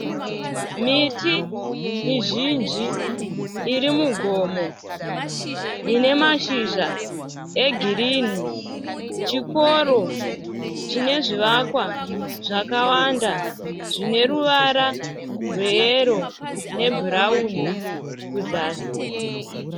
Miti mizhinji iri mugomo ine mashizha egirinhi. Chikoro chine zvivakwa zvakawanda zvine ruvara rweyero nebhurawuni kuzasi.